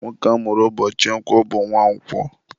Nwoke amụrụ ụbọchị Nkwọ ka akpọrọ Nwankwo.